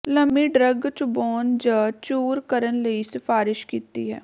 ਲੰਮੀ ਡਰੱਗ ਚਬਾਉਣ ਜ ਚੂਰ ਕਰਨ ਲਈ ਸਿਫਾਰਸ਼ ਕੀਤੀ ਹੈ